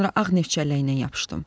Sonra ağ neft çəlləyinə yapışdım.